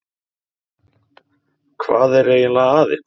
Hvað er eiginlega að ykkur?